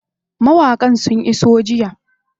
Mawaƙan sun iso jiya.